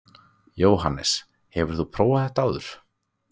Jóhannes: Hefur þú prófað þetta áður?